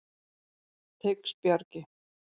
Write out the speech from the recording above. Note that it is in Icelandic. Teigsbjargi